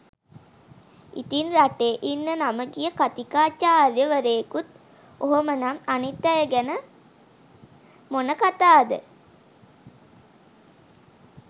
ඉතින් රටේ ඉන්න නම ගිය කතිකාචාර්ය වරයෙකුත් ඔහොම නම් අනිත් අය ගැන මොන කතාද?